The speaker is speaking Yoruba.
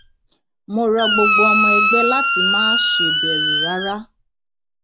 mo rọ gbogbo ọmọ ẹgbẹ láti má ṣe bẹrù rárá